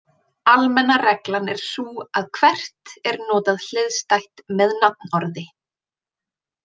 Almenna reglan er sú að hvert er notað hliðstætt með nafnorði.